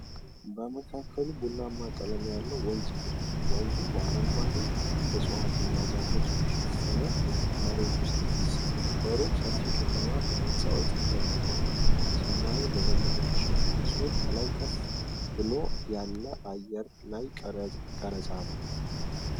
በመካከሉ ቡናማ ቀለም ያለው ወንዝ ሄዷል። ወንዙ በአረንጓዴ ዕፅዋት እና ዛፎች በተሸፈነ መሬት ውስጥ ይፈስሳል። በሩቅ ሰፊ ከተማ በሕንፃዎች ተገንብቷል። ሰማዩ በደመና የተሸፈነ ሲሆን ከላይ ከፍ ብሎ ያለ የአየር ላይ ቀረጻ ነው።